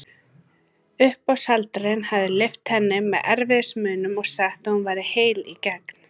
Uppboðshaldarinn hafði lyft henni með erfiðismunum og sagt að hún væri heil í gegn.